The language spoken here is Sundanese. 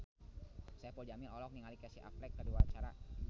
Saipul Jamil olohok ningali Casey Affleck keur diwawancara